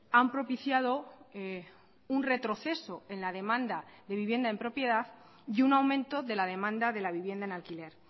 han propiciado un retroceso en la demanda de vivienda en propiedad y un aumento de la demanda de la vivienda en alquiler